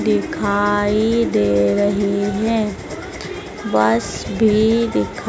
दिखाई दे रही है बस भी दिखाई--